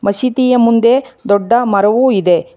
ಮಸೀದಿಯ ಮುಂದೆ ದೊಡ್ಡ ಮರವೂ ಇದೆ.